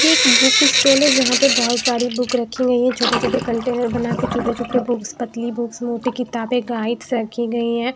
ये एक book stall है जहां पे बहुत सारी बुक रखी गई है छोटे-छोटे कंटेनर बना के छोटे-छोटे बुक्स पतली बुक्स मोटी किताबें गाइड्स रखी गई हैं।